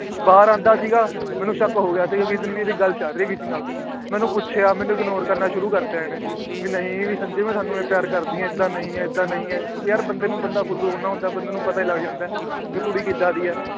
ਬਾਹਰ ਆਉਂਦਾ ਸੀ ਗਾ। ਮੈਨੂੰ ਸ਼ੱਕ ਹੋਗਿਆ ਵੀ ਗੱਲ ਚੱਲ ਰਹੀ ਇਹਦੀ ਕਿਸੇ ਨਾਲ। ਮੈ ਪੁੱਛਿਆ ਮੈਨੂੰ Ignore ਕਰਨਾ ਸ਼ੁਰੂ ਕਰਤਾ ਇਹਨੇ। ਵੀ ਨਹੀਂ ਸੰਜੇ ਮੈ ਤੁਹਾਨੂੰ ਪਿਆਰ ਕਰਦੀ ਆ। ਏਦਾਂ ਨਹੀਂ ਏਦਾਂ ਨਹੀਂ ਯਾਰ ਬੰਦੇ ਨੂੰ ਬੰਦਾ ਫੁੱਦੂ ਬਣਾਉਦਾ ਬੰਦੇ ਨੂੰ ਪਤਾ ਲੱਗ ਜਾਂਦਾ। ਵੀ ਕੁੜੀ ਕਿਦਾਂ ਦੀ ਆ ।